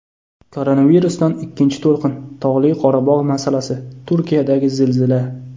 Koronavirusdan ikkinchi to‘lqin, Tog‘li Qorabog‘ masalasi, Turkiyadagi zilzila.